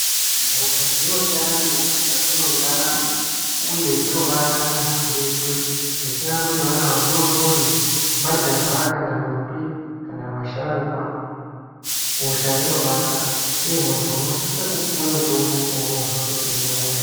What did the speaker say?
Hosha dzinosiyana siyana mukati mentaramo uye dzinobata muntu weshe zvisinei nekuti vana vadoodori, majaha kana ndombi, kana vasharukwa, hosha inobata uye muntu unosise kupuwa mutombo painonzwa kuti unehosha.